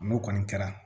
N'o kɔni kɛra